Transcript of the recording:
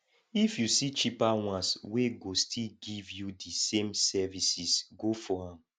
if yu see cheaper ones wey go still giv yu di same services go for am